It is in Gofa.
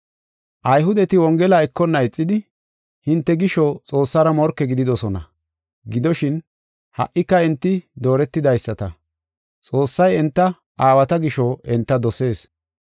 Ayhudeti Wongela ekonna ixidi, hinte gisho Xoossara morke gididosona. Gidoshin, ha77ika enti dooretidaysata, Xoossay enta aawata gisho enta dosees.